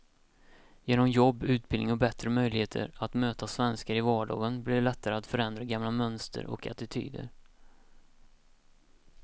Genom jobb, utbildning och bättre möjligheter att möta svenskar i vardagen blir det lättare att förändra gamla mönster och attityder.